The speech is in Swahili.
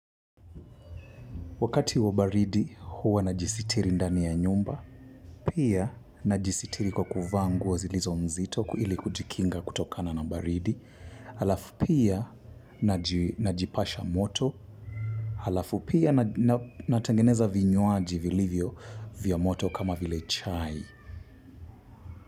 Wakati wa baridi huwa na jisitiri ndani ya nyumba, pia na jisitiri kwa kuvaa nguo zilizo mzito ili kujikinga kutokana na baridi, alafu pia na jipasha moto, alafu pia natengeneza vinywaji vilivyo vya moto kama vile chai.